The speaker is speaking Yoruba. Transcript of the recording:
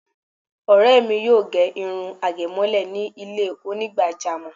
Ọ̀rẹ́ mi yóò ge irun àgémọ́lẹ̀ ní ilé Onígbàjámọ̀